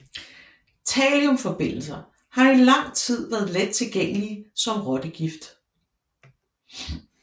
Thalliumforbindelser har i lang tid været lettilgængelige som rottegift